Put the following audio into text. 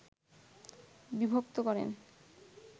বিভক্ত করেন